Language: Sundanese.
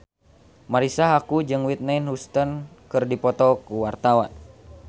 Marisa Haque jeung Whitney Houston keur dipoto ku wartawan